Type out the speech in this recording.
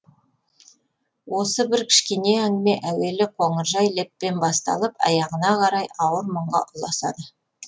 осы бір кішкене әңгіме әуелі қоңыржай леппен басталып аяғына қарай ауыр мұңға ұласады